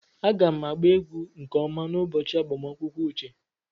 Aga m agba egwu nke ọma n'ụbọchị agbamakwụkwọ uche.